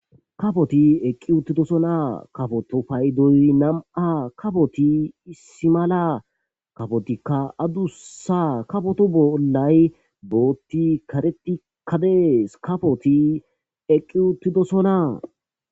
kafoti eqqi uttidosona kafoto paydoy nam7a kafoti issi mala kafotikka adusa kafoto bollay bootti karetikkadees kafoti eqqi uttidosona